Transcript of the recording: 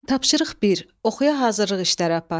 Tapşırıq 1: Oxuya hazırlıq işləri apar.